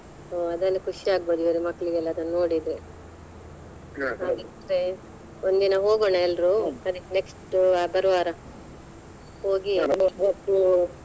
ಹುಂ ಅದೆಲ್ಲ ಖುಷಿ ಆಗಬಹುದು ಇವರಿಗೆ ಮಕ್ಕಳಿಗೆಲ್ಲ ಅದನ್ನು ನೋಡಿದ್ರೆ ಒಂದ ದಿನಾ ಹೋಗೋನಾ ಎಲ್ರೂ ಸರಿ next ಬರುವಾರ ಹೋಗಿ .